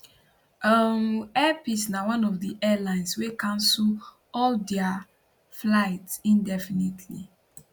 um airpeace na one of di airlines wey cancel all dia flights indefinitely